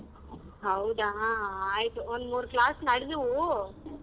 ಹೌದಾ ಆಯ್ತು ಒಂದ್ ಮೂರ್ class ನಡುದ್ವು.